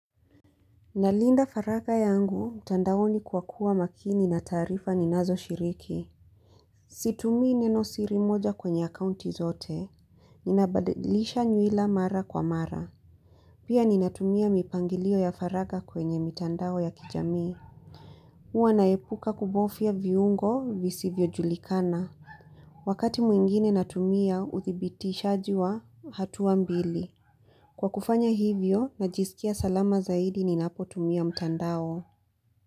Nalinda faraga yangu mtandaoni kwa kuwa makini na taarifa ninazo shiriki. Situmii neno siri moja kwenye akaunti zote. Ninabadilisha nyuila mara kwa mara. Pia ninatumia mipangilio ya faraga kwenye mitandao ya kijami huwa naepuka kubofya viungo visivyojulikana. Wakati mwingine natumia udhibitishaji wa hatua mbili. Kwa kufanya hivyo najisikia salama zaidi ninapo tumia mtandao.